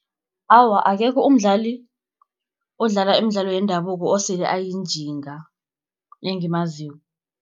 Awa akekho umdlali, odlala imidlalo yendabuko osele ayinjinga engimaziko.